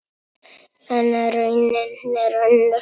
En raunin er önnur.